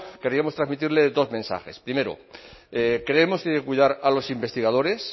queríamos transmitirle dos mensajes primero creemos que hay que cuidar a los investigadores